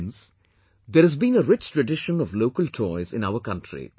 Friends, there has been a rich tradition of local toys in our country